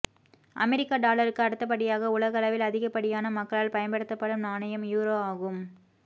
அமெரிக்க டாலருக்கு அடுத்தபடியாக உலகளவில் அதிகப்படியான மக்களால் பயன்படுத்தப்படும் நாணயம் யூரோ ஆகும்